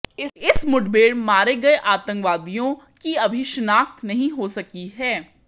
इस मुठभेड़ मारे गए आतंकवादियों की अभी शिनाख्त नहीं हो सकी है